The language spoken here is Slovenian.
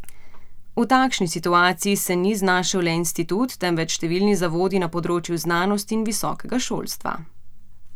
V takšni situaciji se ni znašel le institut, temveč številni zavodi na področju znanosti in visokega šolstva.